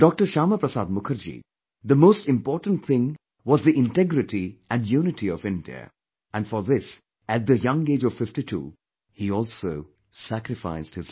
Shyama Prasad Mukherjee, the most important thing was the integrity and unity of India and for this, at the young age of 52, he also sacrificed his life